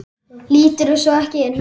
Líturðu svo ekki inn?